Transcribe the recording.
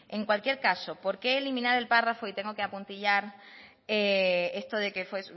en cualquier caso por qué eliminar el párrafo y tengo que apuntillar esto de que fue